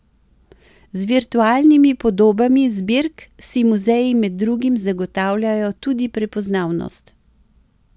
Z virtualnimi podobami zbirk si muzeji med drugim zagotavljajo tudi prepoznavnost.